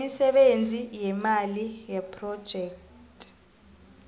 imisebenzi imali yephrojekhthi